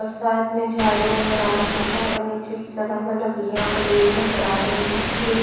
झाड़ी नजर आ रहे है और नीचे की लकड़िया पड़ी हुई नजर आ रही है।